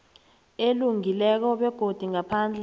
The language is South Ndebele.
elungileko begodu ngaphandle